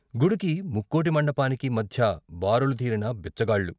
గుడికీ ముక్కోటి మండపానికీ మధ్య బారులు తీరిన బిచ్చగాళ్ళు.